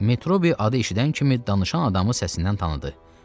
Metrobi adı eşidən kimi danışan adamı səsindən tanıdı.